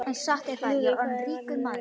Lúðvík, hvað er í matinn á miðvikudaginn?